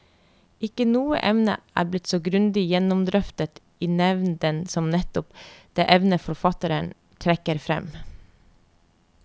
Ikke noe emne er blitt så grundig gjennomdrøftet i nevnden som nettopp det emnet forfatterne trekker frem.